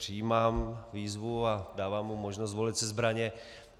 Přijímám výzvu a dávám mu možnost zvolit si zbraně.